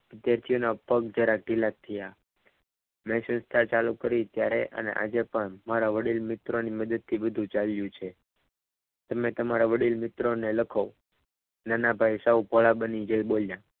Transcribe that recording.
વિદ્યાર્થીઓના પગ જરા ઢીલા થયા મેં સંસ્થા ચાલુ કરી ત્યારે અને આજે પણ મારા વડીલ મિત્રોની મદદથી બધું ચાલ્યું છે તમે તમારા વડીલ મિત્રોને લખો. નાનાભાઈ સૌ ભોળા બની જઈ બોલ્યા.